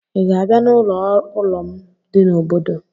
Ị ga-abịa n'ụlọ ụrọ m dị n'obodo?